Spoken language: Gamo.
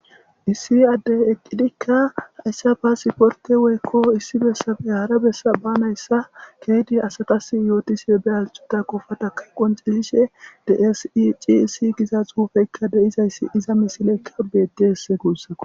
Issi addey eqqidikka hayssa ba siporte woykko issi bessafe haara bessa ba nayssa keedi asakas yootisife be alcuta qofataka qoncesishe dsi ciisi giza xuufeykka de7izayssi iza misileykka bedeesse guussako